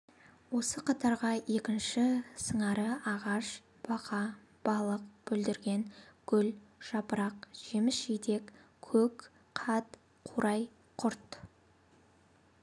осы қатарға екінші сыңары ағаш бақа балық бүлдірген гүл жапырақ жеміс жидек көк қат қурай құрт